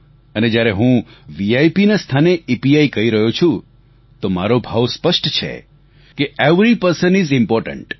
અને જ્યારે હું VIPના સ્થાને ઇપીઆઇ કહી રહ્યો છું તો મારો ભાવ સ્પષ્ટ છે કે એવરી પર્સન આઇએસ ઇમ્પોર્ટન્ટ